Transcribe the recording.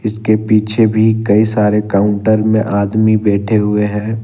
उसके पीछे भी कई सारे काउंटर में आदमी बैठे हुए हैं।